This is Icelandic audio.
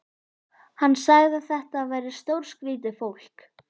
Hann sagði að þetta væri stórskrýtið fólk.